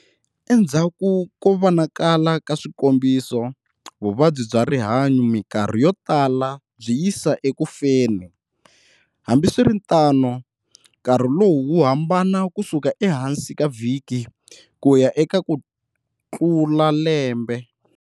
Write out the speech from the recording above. Endzhaku ko vonakala ka swikombiso, vuvabyi bya rihunyo mikarhi yo tala byi yisa eku feni. Hambiswiritano, nkarhi lowu wu hambana ku suka ehansi ka vhiki ku ya eka ku tlula lembe.